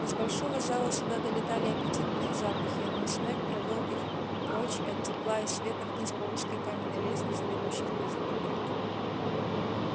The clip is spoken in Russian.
из большого зала сюда долетали аппетитные запахи но снегг провёл их прочь от тепла и света вниз по узкой каменной лестнице ведущей в подземелье